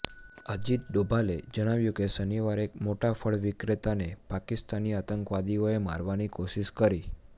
અજીત ડોભાલે જણાવ્યું કે શનિવારે એક મોટા ફળ વિક્રેતાને પાકિસ્તાની આતંકવાદીઓએ મારવાની કોશિશ કરી